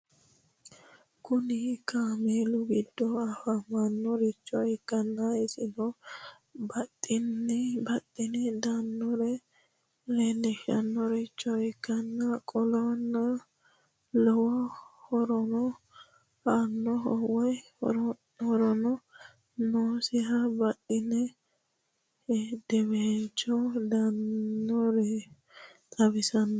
Kuni kaamelu gido afamanorich ikana isino baxeni daanore lelishanorich ikana qoleno lowo horono anoho woyi horono nosiho baxeni hedewelicho daanoreno xawisanoho?